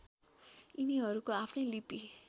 यिनीहरूको आफ्नै लिपि